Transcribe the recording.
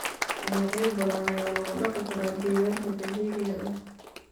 Noocyo badan ayaa lagu dhaqi karaa deegaanka dabiiciga ah.